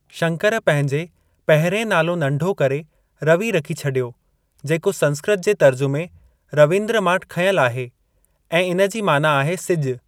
शंकर पंहिंजे पहिरियें नालो नंढो करे रवि रखी छॾियो, जेको संस्कृत जे तर्जुमे ‘रवींद्रऽ मां खंयल आहे ऐं इन जी माना आहे सिज।